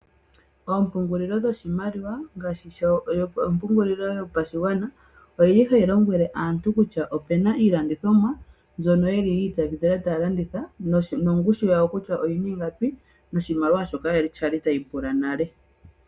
Oompungulilo dho shimaliwa ngaashi ompungulilo yopashigwana, oyili hayi lombwele aantu kutya, opena iilandithomwa mbyono yili yi impwakidhila taya landitha ,nongushu yayo kutya oyina ingapi, noshimaliwa shoka kwali ta yi pula nale.